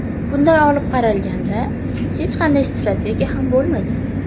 Bunday olib qaralganda, hech qanday strategiya ham bo‘lmagan.